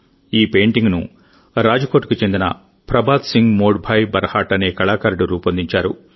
ఈ పెయింటింగ్ను రాజ్కోట్కు చెందిన ప్రభాత్ సింగ్ మోడ్ భాయ్ బర్హాట్ అనే కళాకారుడు రూపొందించారు